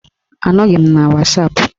Anọghị m na wasapụ